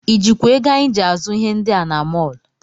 I jikwa ego anyị ji azụ ihe ndị a na mọl?